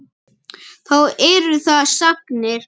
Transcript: Þá eru það sagnir.